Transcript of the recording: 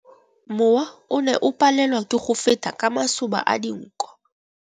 Mowa o ne o palelwa ke go feta ka masoba a dinko.